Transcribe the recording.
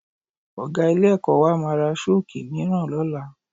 Ọ̀ga ilé-ẹ̀kọ́ wa máa ra Ṣọ́ọ̀kì mìíràn lọ́la